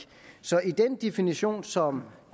så i den definition som